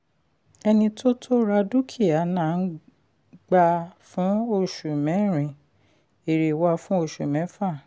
ẹni tó tó ra dúkìá na gbà á fún oṣù mẹ́rin èrè wá fún oṣù méfà.